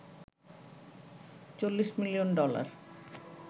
৪০ million dollar